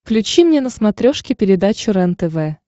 включи мне на смотрешке передачу рентв